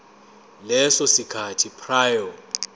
leso sikhathi prior